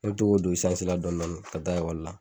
Ne bɛ to k'o don isansi la dɔni dɔni ka taa ikɔli la.